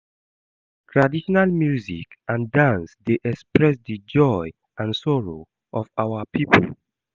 Traditional music and dance dey express di joy and sorrow of our pipo.